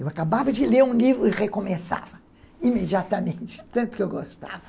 Eu acabava de ler um livro e recomeçava imediatamente, tanto que eu gostava.